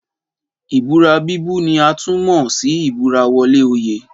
Ìbúra bíbú ni a tún mọ̀ sí ìbúra wọlé oyè